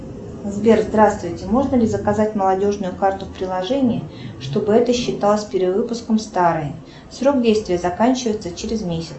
сбер здравствуйте можно ли заказать молодежную карту в приложении чтобы это считалось перевыпуском старой срок действия заканчивается через месяц